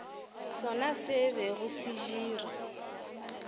sona se bego se dira